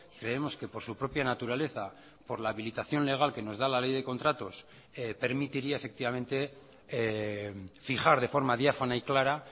creemos que por su propia naturaleza por la habilitación legal que nos da la ley de contratos permitiría efectivamente fijar de forma diáfana y clara